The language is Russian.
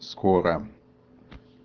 скоро